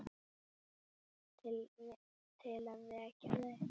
Til að vekja þau.